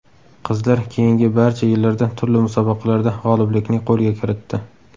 Qizlar keyingi barcha yillarda turli musobaqalarda g‘oliblikni qo‘lga kiritdi.